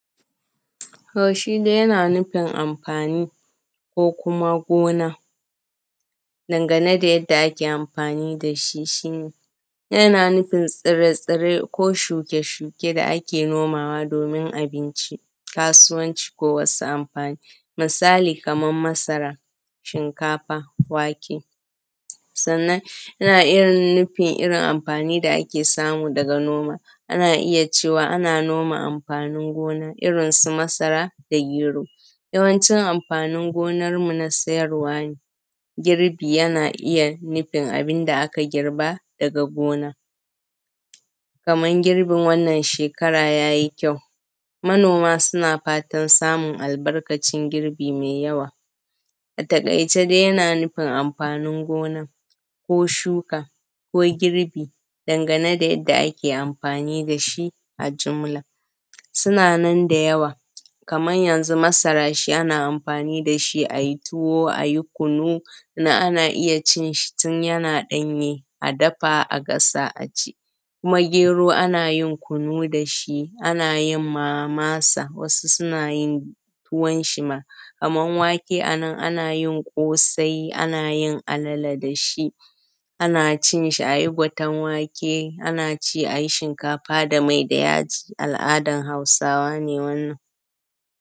To shi dai yana nufi amfani ko kuma gona dangane da yadda ake amfani dashi, shi ne, yana nufin tsirai-tsirai ko shuke-shuke da ake nomawa domin abinci, kasuwanci ko wasu amfani. Misali kaman masara, shinkafa, wake, sannan yana nufin irin amfani da ake samu daga noma. Ana iya cewa ana noma amfanin gona irin su masara da gero, yawanci amfanin gonanmu na sayarwa ne. Girbi yana iya nufin abinda da aka girba daga gona, kaman girbin wannan shekara ya yi kyau, manoma suna fatan samun albarkacin girbi mai yawa. A takaice dai yana nufin amfanin gonan ko shuka ko girbi, dangane da yanda ake amfani dashi a jumla. Suna nan da yawa, kamar yanzu masara ana amfani dashi ayi tuwo ayi kunu, ana iya cin shi tun yana danye, a dafa a gasa aci. Shi kuma gero ana yin kunu dashi, ana yinma masa wasu suna yin tuwon shi ma. Kaman wake anan ana yin ƙosai, ana yin alale dashi, ana cinshi ayi gwaten wake, ana ci ayi shinkafa da mai da yaji al’adan Hausawa ne wannan.